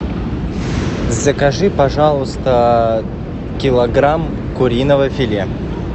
закажи пожалуйста килограмм куриного филе